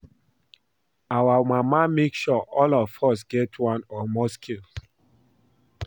Our mama make sure all of us get one or more skills